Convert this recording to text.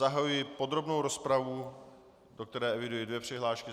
Zahajuji podrobnou rozpravu, do které eviduji dvě přihlášky.